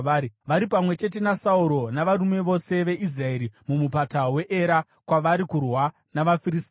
Vari pamwe chete naSauro navarume vose veIsraeri muMupata weEra kwavari kurwa navaFiristia.”